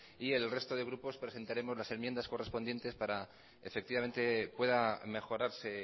y el resto de grupo presentaremos las enmiendas correspondientes para que efectivamente pueda mejorarse